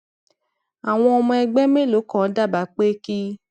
àwọn ọmọ ẹgbẹ mélòó kan dábàá pé kí